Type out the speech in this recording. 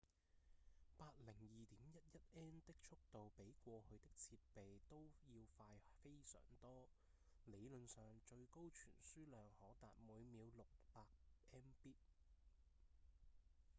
802.11n 的速度比過去的設備都要快非常多理論上最高傳輸量可達每秒 600mbit